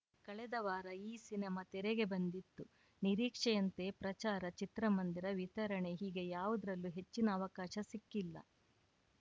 ಕಳೆದ ವಾರ ಈ ಸಿನಿಮಾ ತೆರೆಗೆ ಬಂದಿತ್ತು ನಿರೀಕ್ಷೆಯಂತೆ ಪ್ರಚಾರ ಚಿತ್ರಮಂದಿರ ವಿತರಣೆ ಹೀಗೆ ಯಾವುದರಲ್ಲೂ ಹೆಚ್ಚಿನ ಅವಕಾಶ ಸಿಕ್ಕಿಲ್ಲ